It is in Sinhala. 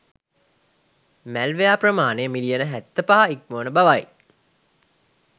මැල්වෙයාර් ප්‍රමානය මිලියන 75 ඉක්මවන බවයි.